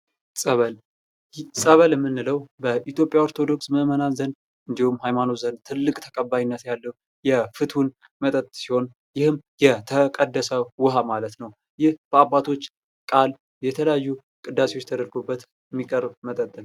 ፀበል ። ፀበል ምንለው በኢትዮጵያ ኦርቶዶክስ ምእምናን ዘንድ እንዲሁም ሀይማኖት ዘንድ ትልቅ ተቀባይነት ያለው የፍትውን መጠጥ ሲሆን ይህም የተቀደሰ ውሃ ማለት ነው ። ይህ በአባቶች ቃል የተለያዩ ቅዳሴዎች ተደርገውበት ሚቀርብ መጠጥ ነው ።